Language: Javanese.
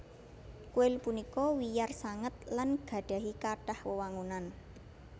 Kuil punika wiyar sanget lan gadhahi kathah wewangunan